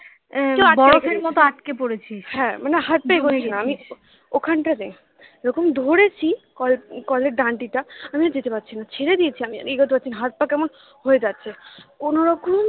ওখানটাতে এরকম ধরেছি কল এর ডান্ডিটা আমি আর যেতে পারছি না ছেড়ে দিয়েছি আমি আর এগোতে পারছি না হাত পা কেমন হয়ে যাচ্ছে কোনোরকম